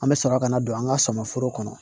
An bɛ sɔrɔ ka na don an ka sama foro kɔnɔ